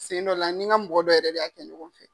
Sen dɔ la n ni n ka mɔgɔ dɔ yɛrɛ de y'a kɛ ɲɔgɔn fɛ.